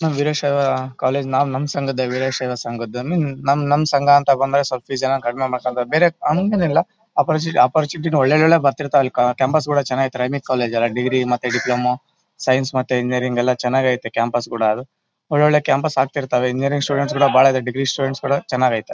ನಮ್ ವೀರಶೈವ ಕಾಲೇಜು ನಾವ್ ನಮ್ ಸಂಘದ್ದೆ ವೀರಶೈವ ಸಂಘದ್ ನಮ್ ನಮ್ ಸಂಘ ಅಂತ ಬಂದಾಗ ಬೇರೆ ಹಂಗೇನಿಲ್ಲಾ ಒಪ್ಪೋರ್ಚಿಟಿ ಒಪ್ಪೋರ್ಚುನಿಟಿ ಒಳ್ಳೆ ಒಳ್ಳೆ ಬರ್ತಿರ್ತಾವೆ ಅಲ್ಲಿ ಕ್ಯಾಂಪಸ್ ಗಳು ಚನಾಗ್ ಇದೆ ಕಾಲೇಜ್ ಅಲ್ಲಾ ಡಿಗ್ರಿ ಮತ್ತೆ ಡಿಪ್ಲೊಮೋ ಸೈನ್ಸ್ ಮತ್ತೆ ಇಂಜಿನಿಯರಿಂಗ್ ಎಲ್ಲಾ ಚನಾಗಿದೆ ಕ್ಯಾಂಪಸ್ ಗಳು ಒಳ್ಳೇ ಒಳ್ಳೇ ಕ್ಯಾಂಪಸ್ ಗಳು ಅಗ್ತಿರ್ತಾವೆ ಇಂಜಿನಿಯರಿಂಗ್ ಸ್ಟೂಡೆಂಟ್ಸ್ ಗಳು ಬಹಳ ಇದೆ ಡಿಗ್ರಿ ಸ್ಟೂಡೆಂಟ್ಸ್ ಗಳು ಚನಾಗಿದೆ .